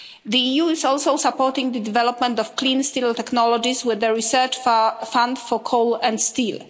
The EU is also supporting the development of clean steel technologies with their research fund for coal and steel.